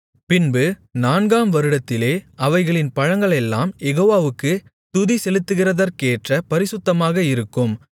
பின்பு நான்காம் வருடத்திலே அவைகளின் பழங்களெல்லாம் யெகோவாவுக்குத் துதிசெலுத்துகிறதற்கேற்ற பரிசுத்தமாக இருக்கும்